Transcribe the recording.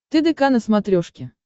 тдк на смотрешке